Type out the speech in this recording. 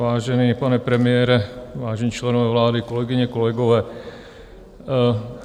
Vážený pane premiére, vážení členové vlády, kolegyně, kolegové.